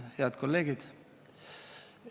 Head kolleegid!